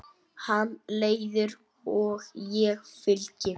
Hann leiðir og ég fylgi.